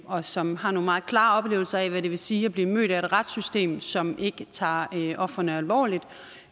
og som har nogle meget klare oplevelser af hvad det vil sige at blive mødt af et retssystem som ikke tager ofrene alvorligt